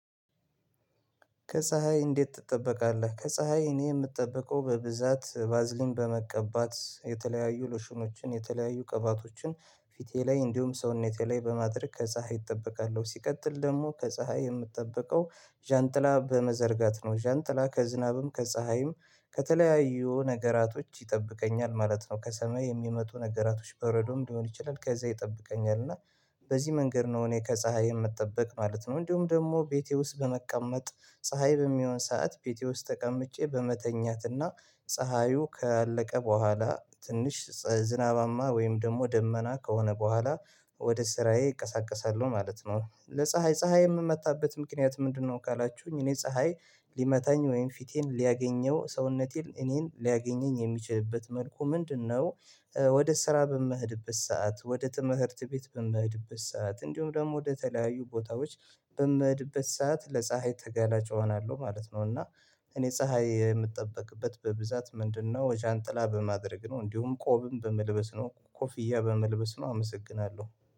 ከፀሀይ እንዴት ትጠበቃለህ ከፀሀይ እኔ የምጠበቀው በብዛት ባዝሊን በመቀባት የተለያዩ ሉሽኖችን የተለያዩ ቅባቶችን ፊቴ ላይ እንዲሁም ሰውነቴ ላይ በማድረግ ከፀሀይ እጠበቃለሁ ሲቀጥል ደግሞ ከፀሀይ የምትጠብቀው ዣንጥላ በመዘርጋት ነው ዣንጥላ ከዝናብም ከፀሀይም ከተለያዩ ነገራቶች ይጠብቀኛል ማለት ነው ከሰማይ የሚመጡ ነገራቶች በረዶም ሊሆን ይችላል ከዛ ይጠብቀኛል እና በዚህ መንገድ ነው እኔ ከፀሀይ የምጠብቅ ማለት ነው እንዲሁም ደግሞ ቤቴ ውስጥ በመቀመጥ ፀሀይ በሚሆን ሰዓት ቤቴ ውስጥ ተቀምጬ በመተኛትና ፀሀዩ ካለቀ በኋላ ትንሽ ዝናባማ ወይም ደግሞ ደመና ከሆነ በኋላ ወደ ስራዬ እንቀሳቀሳለሁ ማለት ነው ለፀሀይ ፀሀይ የምመጣበት ምክንያት ምንድነው ካላችሁኝ እኔ ፀሀይ ሊመታኝ ወይም ፊቴን ሊያገኘው ሰውነቴን እኔን ሊያገኘኝ የሚችልበት መልኩ ምንድነው ወደ ስራ በምኸድበት ሰዓት ወደ ትምህርት ቤት በምሄድበት ሰዓት እንዲሁም ደግሞ ወደ ተለያዩ ቦታዎች በምሄድበት ሰዓት ለፀሀይ ተገላጭ እሆናለሁ ማለት ነው እና እኔ ፀሀይ የምጠበቅበት በብዛት ምንድነው ጃንጥላ በማድረግ ነው እንዲሁም ቆብም በመልበስ ነው ኮፍያ በመልበስ ነው አመሰግናለሁ።